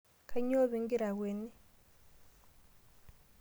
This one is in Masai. Kanyoo pee igira akweni?